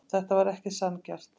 Þetta var ekki sanngjarnt.